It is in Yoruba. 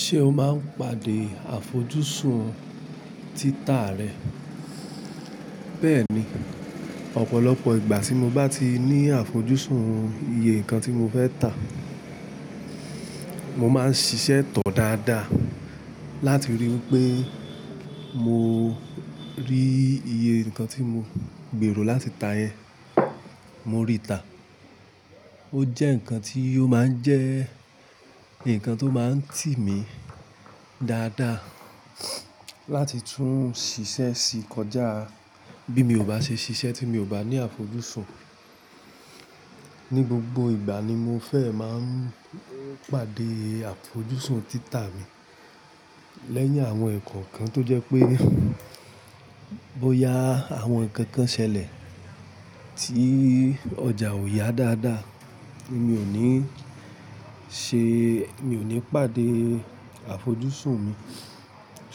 Ṣé o máa n pàdé àfojúsùn títà rẹ? Bẹ́ẹ̀ni, ọ̀pọ̀lọpọ̀ ìgbà tí mo bá ti ní àfojúsùn iye nǹkan tí mo fẹ́ tà, mo máa ń ṣiṣẹ́ tọ̀ dáadáa láti ríi pé mo rí iye nǹkan tí mo gbèrò láti tà yẹn. Mo rí tà. Ó jẹ́ nǹkan tí ó máa ń jẹ́ nǹkan tó máa ń tì mí dáadáa láti tún ṣiṣẹ́ sí kọjá bí mi ò bá ṣe ṣiṣẹ́ tí mi ò bá ní àfojúsùn. Ni gbogbo ìgbà ni mo fẹ́ máa ń pàdé àfojúsùn títà mi. Lẹ́yìn àwọn ẹ̀kọ́okan tó jẹ́ pé bóya àwọn nǹkan kan ṣẹlẹ̀ tí ọjà ò yá dáadáa ni mi ò ní ṣe, mi ò ní pàdé àfojúsùn mi.